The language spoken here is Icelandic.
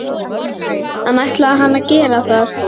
En ætlaði hann að gera það?